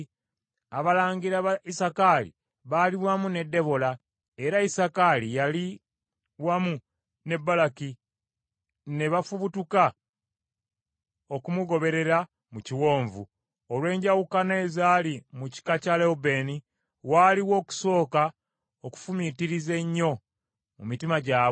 Abalangira ba Isakaali baali wamu ne Debola; era Isakaali yali wamu ne Baraki. Ne bafubutuka okumugoberera mu kiwonvu. Olw’enjawukana ezaali mu kika kya Lewubeeni, waaliwo okusooka okufumiitiriza ennyo mu mitima gyabwe.